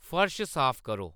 फर्श साफ करो